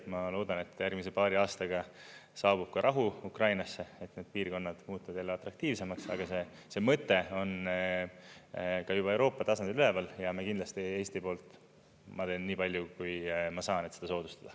Ma loodan, et järgmise paari aastaga saabub rahu Ukrainasse, et need piirkonnad muutuvad jälle atraktiivsemaks, aga see mõte on ka juba Euroopa tasandil üleval ja kindlasti Eesti poolt ma teen nii palju, kui ma saan, et seda soodustada.